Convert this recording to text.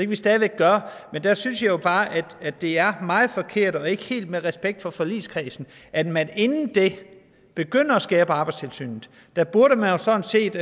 vi stadig væk gøre men der synes jeg jo bare at det er meget forkert og ikke helt med respekt over for forligskredsen at man inden da begynder at skære ned på arbejdstilsynet der burde man jo sådan set